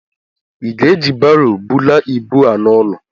ị ga-eji Baro bulaa ibu a n'ụlọ?